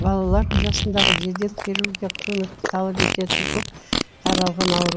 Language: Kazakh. балалар жасындағы жедел хирургиялық көмекті талап ететін көп таралған ауру